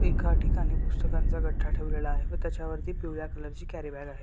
एका ठिकाणी पुस्तकांचा गट्ठा ठेवलेला आहे व त्याच्यावरती पिवळ्या कलर ची कॅरी बॅग आहे.